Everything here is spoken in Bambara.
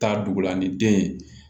Taa dugu la ni den ye